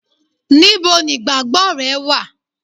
níbo nigbagbo re wa